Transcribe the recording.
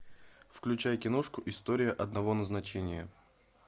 включай киношку история одного назначения